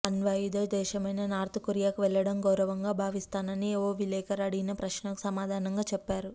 అణ్వాయుధ దేశమైన నార్త్ కొరియాకు వెళ్లడం గౌరవంగా భావిస్తానని ఓ విలేకరి అడిగిన ప్రశ్నకు సమాధానంగా చెప్పారు